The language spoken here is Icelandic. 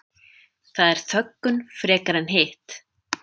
Það er þöggun frekar en hitt